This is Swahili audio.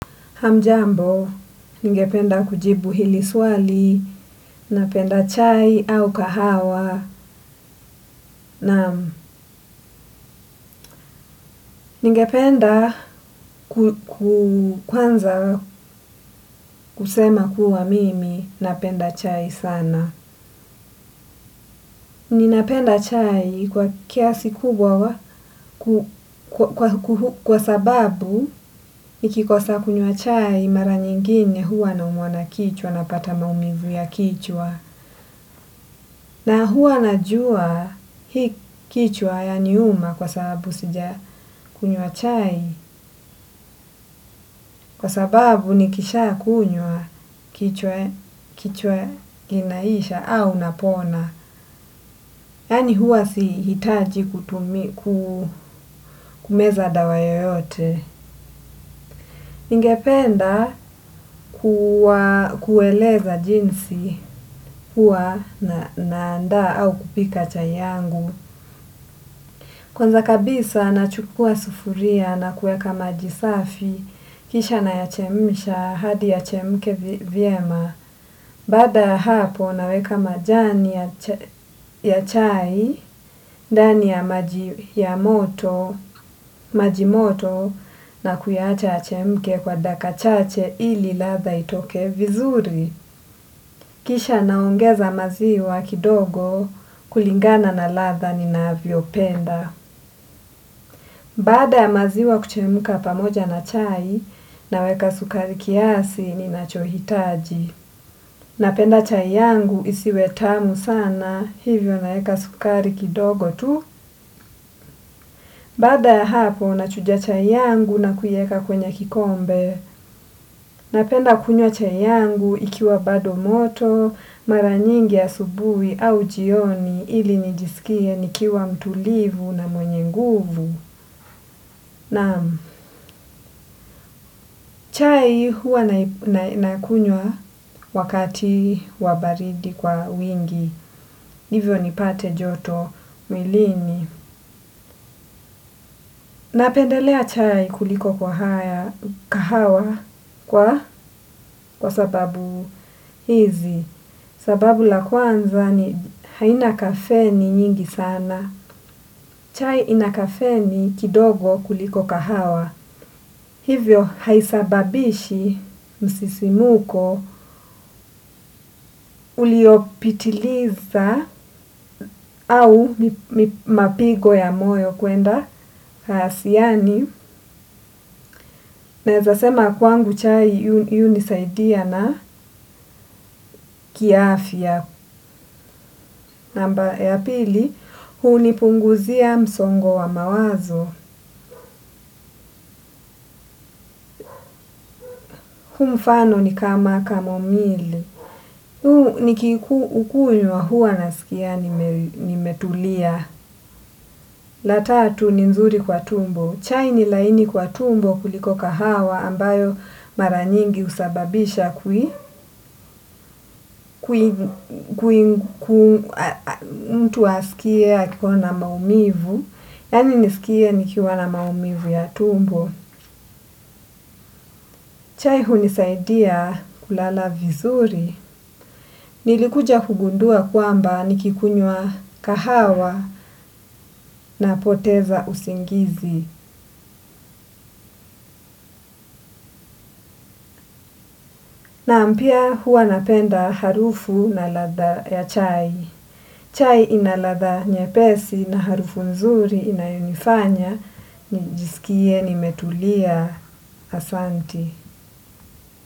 Hamjambo, ningependa kujibu hili swali, napenda chai au kahawa, nam. Ningependa kwanza kusema kuwa mimi, napenda chai sana. Ninapenda chai kwa kiasi kubwa wa kwa sababu, nikikosa kunywa chai mara nyingine huwa na umwa na kichwa, napata maumivu ya kichwa. Na huwa najua hii kichwa yaniuma kwa sababu sijakunywa chai kwa sababu nikishakunywa kichwa inaisha au unapona. Yani hua si hitaji kumeza dawa yoyote. Ningependa kuweleza jinsi hua na anda au kupika chai yangu. Kwanza kabisa nachukua sufuria na kueka majisafi kisha nayachemisha hadi yachemke viema. Bada hapo naweka majani ya chai dani ya majimoto na kuacha yachemke kwa daka chache ili latha itoke vizuri. Kisha naongeza maziwa kidogo kulingana na latha nina viopenda. Bada maziwa kuchemuka pamoja na chai na weka sukari kiasi ni nacho hitaji. Napenda chai yangu isi wetamu sana hivyo na weka sukari kidogo tu. Bada hapo na chujia chai yangu na kuyeka kwenye kikombe. Napenda kunyo chai yangu ikiwa bado moto, maranyingi ya asubui au jioni ili nijisikie nikiwa mtulivu na mwenye nguvu. Nam, chai hua nakunywa wakati wabaridi kwa wingi, hivyo nipate joto mwilini. Napendelea chai kuliko kwa haya kahawa kwa sababu hizi, sababu la kwanza ni haina kafeni nyingi sana. Chai ina kafeni kidogo kuliko kahawa hivyo haisababisha msisimuko uliopitiliza au mapigo ya moyo kuenda siyani. Neza sema kwangu chai yu nisaidia na kiaafia. Namba ya pili, huu nipunguzia msongo wa mawazo. Mfano ni kama kamo mili. Hu ni kikunywa huwa na sikia ni metulia. La tatu ni nzuri kwa tumbo. Chai ni laini kwa tumbo kuliko kahawa ambayo mara nyingi husababisha kui mtu asikie akikuwa na maumivu. Yani nisikie nikiwa na maumivu ya tumbo. Chai hunisaidia kulala vizuri. Nilikuja kugundua kwamba nikikunywa kahawa na poteza usingizi. Naam pia huwa napenda harufu na ladha ya chai. Chai ina ladha nyepesi na harufu nzuri inayonifanya nijiskie nimetulia.